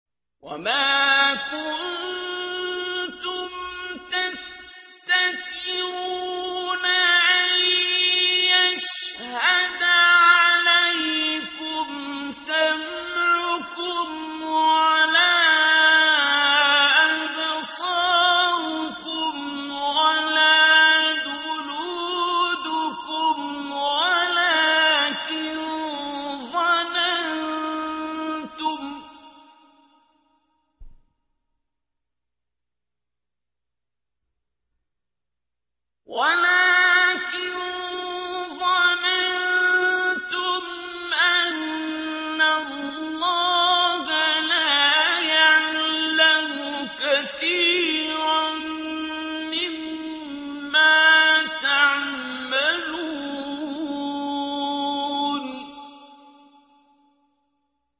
وَمَا كُنتُمْ تَسْتَتِرُونَ أَن يَشْهَدَ عَلَيْكُمْ سَمْعُكُمْ وَلَا أَبْصَارُكُمْ وَلَا جُلُودُكُمْ وَلَٰكِن ظَنَنتُمْ أَنَّ اللَّهَ لَا يَعْلَمُ كَثِيرًا مِّمَّا تَعْمَلُونَ